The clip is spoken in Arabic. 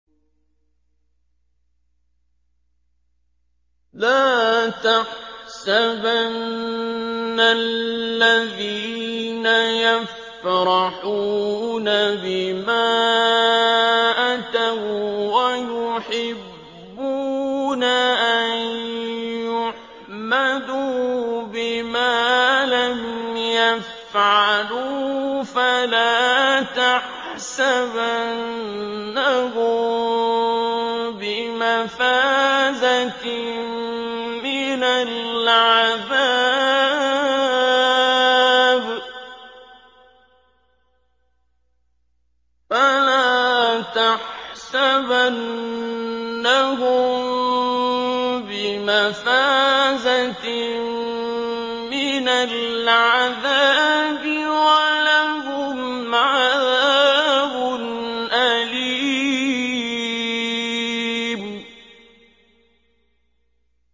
لَا تَحْسَبَنَّ الَّذِينَ يَفْرَحُونَ بِمَا أَتَوا وَّيُحِبُّونَ أَن يُحْمَدُوا بِمَا لَمْ يَفْعَلُوا فَلَا تَحْسَبَنَّهُم بِمَفَازَةٍ مِّنَ الْعَذَابِ ۖ وَلَهُمْ عَذَابٌ أَلِيمٌ